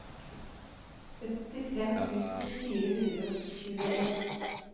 syttifem tusen fire hundre og tjueen